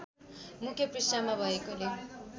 मुख्य पृष्ठमा भएकोले